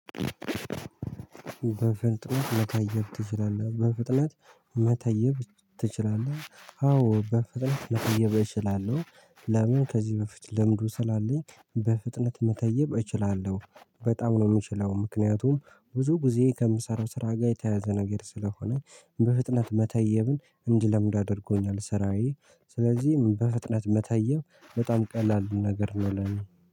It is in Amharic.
በፍጥነት መታየብ ትችላለህ በፍጥነት መተየብ ትችላለህ? አዎ በፍጥነት መተየብ እችላለሁ። ለምን ከዚህ በፊት ልምዱ ስላለኝ በፍጥነት መተየብ እችላለሁ በጣም ነው የምችለው። ምክንያቱም ብዙ ጊዜ ከምሰራው ስራ ጋር የተያዘ ነገር ስለሆነ። በፍጥነት መተየብን እንድለምድ አድርጎኛል ስራዬ። ስለዚህ በፍጥነት መተየብ በጣም ቀላል ነገር ነው ለእኔ